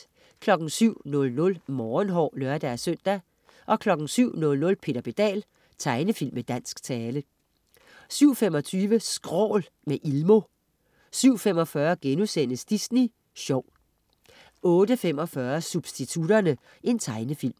07.00 Morgenhår (lør-søn) 07.00 Peter Pedal. Tegnefilm med dansk tale 07.25 Skrål, med Ilmo 07.45 Disney sjov* 08.45 Substitutterne. Tegnefilm